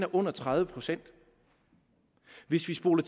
under tredive procent hvis vi spoler